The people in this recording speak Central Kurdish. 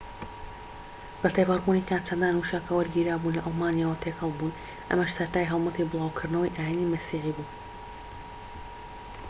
بەتێپەڕبوونی کات چەندان وشە کە وەرگیراوبوون لە ئەڵمانیەوە تێکەڵبوون ئەمەش سەرەتای هەڵمەتی بلاوکردنەوەی ئاینی مەسیحی بوو